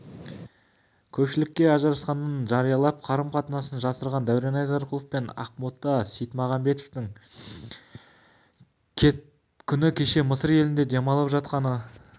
көпшілікке ажырасқанын жариялап қарым-қатынасын жасырған дәурен айдарқұлов пен ақбота сейтмағамбеттің күні кеше мысыр елінде демалып жатқаны